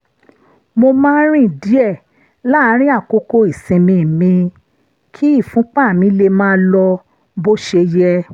mo máa ń rìn díẹ̀ láàárín àkókò ìsinmi mi kí ìfúnpá mi lè máa lọ bó ṣe yẹ